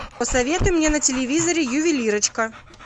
посоветуй мне на телевизоре ювелирочка